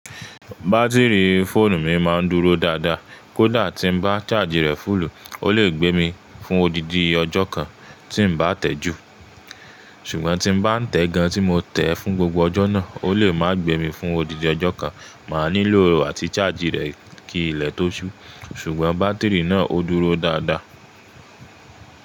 Bátìrì fóònù mi máa ń dúró dáadáa. Kódà tí ń bá ṣájì rẹ fúlù, ó lè gbé mi fún odidi ọjọ́ kan tí ń bá tẹ̀ẹ́ jù. Ṣùgbọ́n tí ń bá tẹ̀ẹ́ gan tí mo tẹ̀ẹ́ fún gbogbo ọjọ́ náà, ó lè má gbé mi fún odidi ọjọ́ kan. Máa nílò àti ṣájì rẹ̀ kí ilẹ̀ tó ṣú. Ṣùgbọ́n bátìrì náà ó dúró dáadáa.